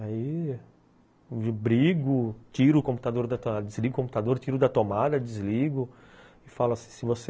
Aí brigo, desligo o computador, tiro da tomada, desligo e falo assim, se você...